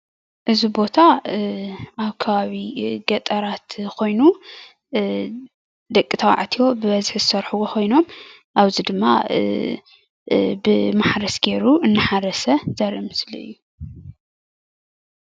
እዚ ቦታ አብ ከባቢ ገጠራት ኮይኑ ደቂ ተባዕትዮ ብበዝሒ ዝስርሕዎ ኮይኖም አብዚ ድማ ብማሕረስ ገይሮም እናሓረሰ ዘሪኢ ምስሊ እዩ፡፡